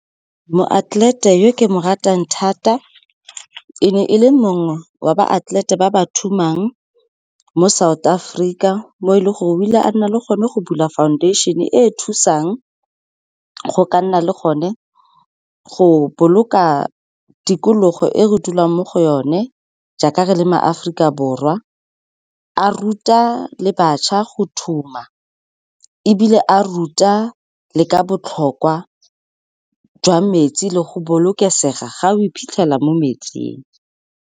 Moatlelete yo ke mo ratang thata e ne e le mongwe wa ba atlelete ba ba thumang mo South Africa, mo e leng gore o ile a nna le gone go bula foundation-e e thusang go ka nna le gone go boloka tikologo e re dulang mo go yone, jaaka re le maAforika Borwa, a ruta le bašwa go thuma, ebile a ruta le ka botlhokwa jwa metsi le go bolokesega ga o iphitlhela mo metsing.